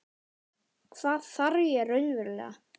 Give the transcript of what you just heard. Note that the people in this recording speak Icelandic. Hvað þarf ég raunverulega?